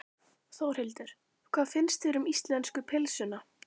Þórhildur: Hvað finnst þér um íslensku pylsuna?